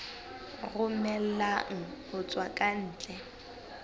romellwang ho tswa ka ntle